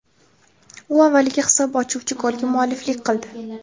U avvaliga hisob ochuvchi golga mualliflik qildi.